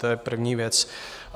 To je první věc.